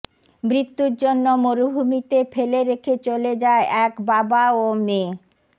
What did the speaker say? মৃত্যুর জন্য মরুভূমিতে ফেলে রেখে চলে যায় এক বাবা ও মেয়ে